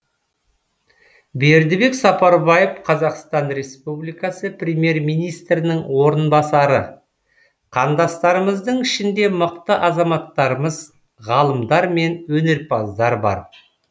бердібек сапарбаев қазақстан республикасы премьер министрінің орынбасары қандастарымыздың ішінде мықты азаматтарымыз ғалымдар мен өнерпаздар бар